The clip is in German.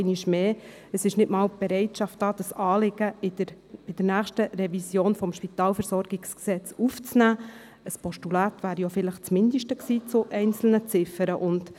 Es besteht nicht einmal die Bereitschaft, das Anliegen in der nächsten SpVG-Revision aufzunehmen, was zu einzelnen Ziffern in Form eines Postulats das Mindeste gewesen wäre.